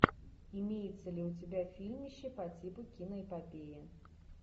имеется ли у тебя фильмище по типу киноэпопеи